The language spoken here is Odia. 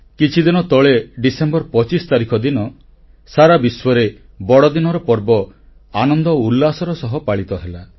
କିଛିଦିନ ତଳେ ଡିସେମ୍ବର 25 ତାରିଖ ଦିନ ସାରା ବିଶ୍ୱରେ ବଡ଼ଦିନର ପର୍ବ ଆନନ୍ଦ ଓ ଉଲ୍ଲାସର ସହ ପାଳିତ ହେଲା